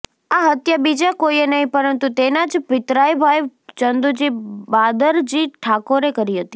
આ હત્યા બીજા કોઈએ નહીં પરંતુ તેના જ પિતરાઈ ભાઈ ચંદુજી બાદરજી ઠાકોરે કરી હતી